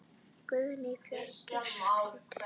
Guðný: Fjörugur fundur?